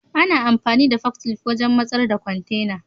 Ana amfani da forklift wajen masar da kwantena.